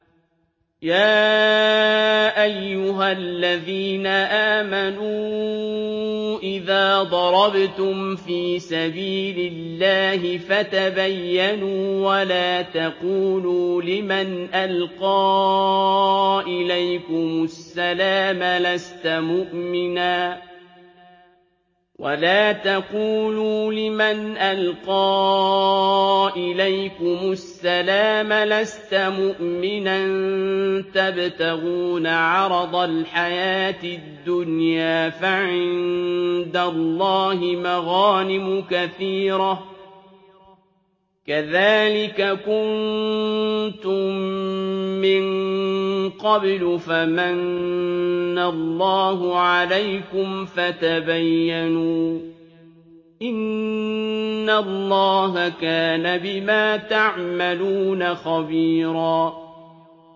يَا أَيُّهَا الَّذِينَ آمَنُوا إِذَا ضَرَبْتُمْ فِي سَبِيلِ اللَّهِ فَتَبَيَّنُوا وَلَا تَقُولُوا لِمَنْ أَلْقَىٰ إِلَيْكُمُ السَّلَامَ لَسْتَ مُؤْمِنًا تَبْتَغُونَ عَرَضَ الْحَيَاةِ الدُّنْيَا فَعِندَ اللَّهِ مَغَانِمُ كَثِيرَةٌ ۚ كَذَٰلِكَ كُنتُم مِّن قَبْلُ فَمَنَّ اللَّهُ عَلَيْكُمْ فَتَبَيَّنُوا ۚ إِنَّ اللَّهَ كَانَ بِمَا تَعْمَلُونَ خَبِيرًا